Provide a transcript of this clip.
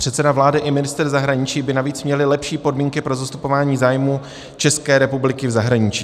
Předseda vlády i ministr zahraničí by navíc měli lepší podmínky pro zastupování zájmů České republiky v zahraničí.